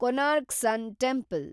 Konark sun temple